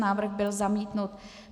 Návrh byl zamítnut.